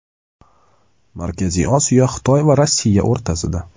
Markaziy Osiyo Xitoy va Rossiya o‘rtasida.